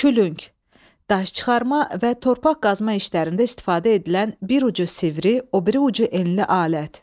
Külüng, daş çıxarma və torpaq qazma işlərində istifadə edilən bir ucu sivri, o biri ucu enli alət.